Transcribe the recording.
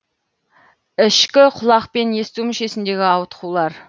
ішкі құлақ пен есту мүшесіндегі ауытқулар